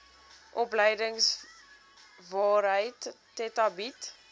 opleidingsowerheid theta bied